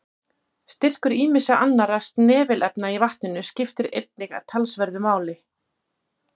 Styrkur ýmissa annarra snefilefna í vatninu skiptir einnig talsverðu máli.